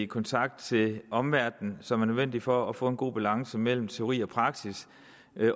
kontakt til omverdenen som er nødvendig for at få en god balance mellem teori og praksis